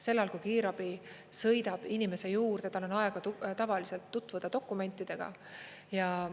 Sel ajal, kui kiirabi sõidab inimese juurde, tal on aega tavaliselt tutvuda dokumentidega.